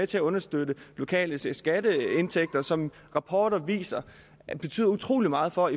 til at understøtte lokale skatteindtægter som rapporter viser betyder utrolig meget for